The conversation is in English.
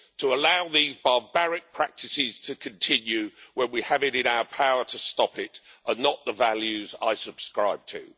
To allow these barbaric practices to continue when we have it in our power to stop it, are not the values I subscribe to.